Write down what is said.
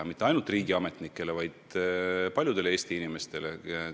Ja mitte ainult riigiametnikele, vaid paljudele teistelegi Eesti inimestele.